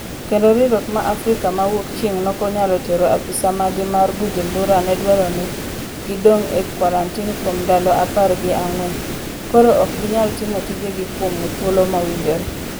Kendo riwruok m Africa ma wuokchieng' nokonyalo tero apisa maggi mar Bujumbura nedwaro ni gi dong' e kwarantin kuom ndalo apar gi ang'wen, koro ok ginyal timo tije gi kuom thuolo mowinjore